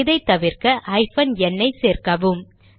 இதை தவிர்க்க hyphen n ஐ சேர்க்கவும்